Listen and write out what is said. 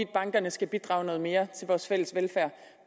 bankerne skal bidrage noget mere til vores fælles velfærd